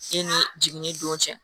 E ni jiginni don cɛ